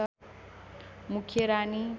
मुख्य रानी